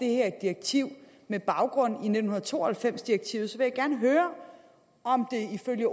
her direktiv med baggrund i nitten to og halvfems direktivet vil jeg gerne høre om der ifølge